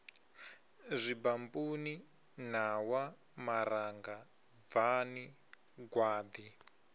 zwibampuni ṋawa maranga bvani gwaḓi